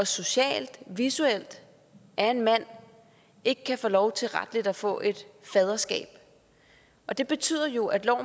socialt og visuelt er en mand ikke kan få lov til retligt at få et faderskab og det betyder jo at